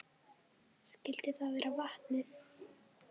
Skyldi það vera vatnið?